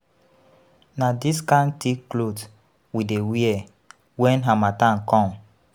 Na dis kind tick clot we dey wear wen harmattan come.